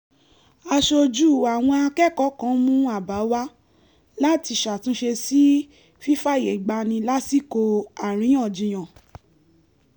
aṣojú àwọn akẹ́kọ̀ọ́ kan mú àbá wá láti ṣàtúnṣe sí fífààyègbani lásìkò àríyànjiyàn